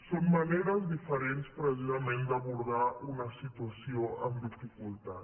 són maneres diferents precisament d’abordar una situació amb dificultat